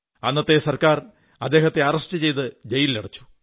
അന്നത്തെ സർക്കാർ അദ്ദേഹത്തെ അറസ്റ്റ് ചെയ്ത് ജയിലിലടച്ചു